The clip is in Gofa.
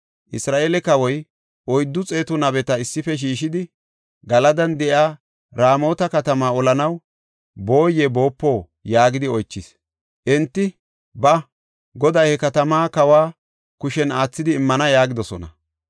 Isra7eele kawoy oyddu xeetu nabeta issife shiishidi, “Galadan de7iya Raamota katama olanaw booye boopo” yaagidi oychis. Enti, “Ba; Goday he katamaa kawa kushen aathidi immana” yaagidosona.